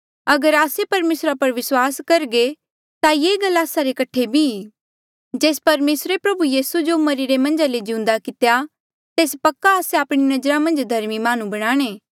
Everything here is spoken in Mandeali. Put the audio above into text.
अगर आस्से परमेसरा पर विस्वास करघे ये गल आस्से रे कठे बी ई जेस परमेसरे प्रभु यीसू जो मरिरे मन्झा ले जिउंदा कितेया तेस पक्का आस्से आपणी नजरा मन्झ धर्मी माह्णुं बनाणे